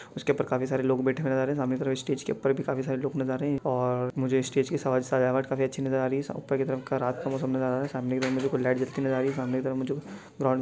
उसके ऊपर काफी सारे लोग बैठे हुए नज़र आ रहे हैं सामने की तरफ़ स्टेज के ऊपर भी काफी सारे लोग नज़र आ रहे हैं और मुझे स्टेज की सजावट काफी अच्छी नज़र आ रही हैं ऊपर की तरफ़ रात का मौसम नज़र आ रहा हैं सामने की तरफ़ मुझे कुछ लाइट जलती हुई नज़र आ रही हैं सामने की तरफ़ मुझे--